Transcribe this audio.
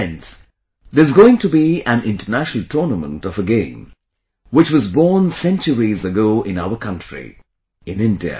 Friends, there is going to be an international tournament of a game which was born centuries ago in our own country...in India